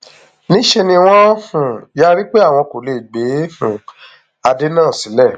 níṣẹ ni wọn um yarí pé àwọn kò lè gbé um adé náà sílẹ